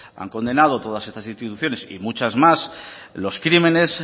han condenado todas estas instituciones y muchas más los crímenes